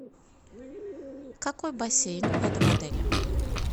какой бассейн в этом отеле